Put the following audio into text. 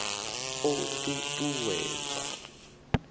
o ṱ u ṱ uwedza